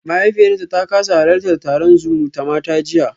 Mahaifiyarta ta kasa halartar taron zumutamata jiya